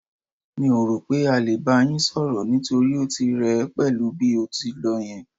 Mi ò rò pé á lè bá yín sọ̀rọ̀, nítorí ó ti rẹ ẹ pẹ̀lú ibi tó lọ yẹn.